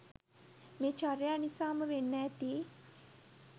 මේ චර්යා නිසාම වෙන්න ඇති